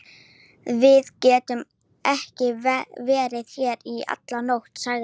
Við getum ekki verið hér í alla nótt, sagði